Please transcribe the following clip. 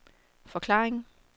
forklaring